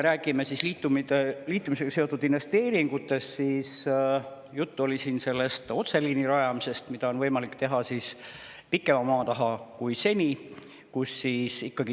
Rääkides liitumisega seotud investeeringutest, oli siin juttu otseliini rajamisest, mida on võimalik teha pikema maa taha kui seni.